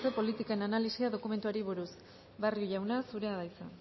politiken analisia dokumentuari buruz barrio jauna zurea da hitza